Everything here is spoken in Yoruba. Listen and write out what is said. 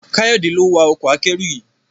Kayode lo wá Ọkọ̀ akẹ́rù yí.